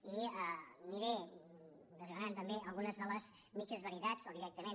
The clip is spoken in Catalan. i aniré desgranant també algunes de les mitges veritats o directament